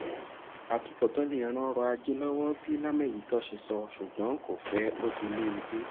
àtubọtán lè ran ọrọ ajé l'Ọwọ́ bí lámèyító ṣe sọ ṣùgbón kò fẹ otílèèdè